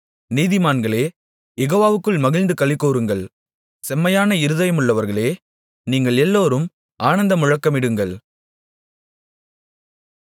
நீதிமான்களே யெகோவாவுக்குள் மகிழ்ந்து களிகூருங்கள் செம்மையான இருதயமுள்ளவர்களே நீங்கள் எல்லாரும் ஆனந்தமுழக்கமிடுங்கள்